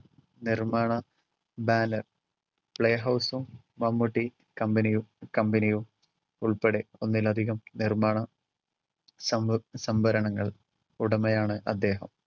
നിർമ്മാണ banner, play house ഉം മമ്മൂട്ടി കമ്പനിയും കമ്പനിയും ഉൾപ്പെടെ ഒന്നിലധികം നിർമാണ സംഭ~ സംഭരണങ്ങൾ ഉടമയാണ് അദ്ദേഹം.